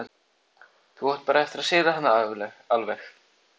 Þá áttu bara eftir að sigra hana alveg.